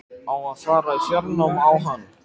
Á að fara í fjárnám á hann?